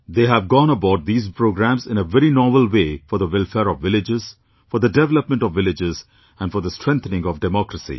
They have gone about these programmes in a very novel way for the welfare of villages, for the development of villages and for the strengthening of democracy